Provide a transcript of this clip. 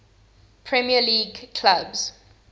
premier league clubs